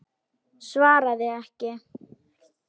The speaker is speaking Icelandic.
Svaraði ekki.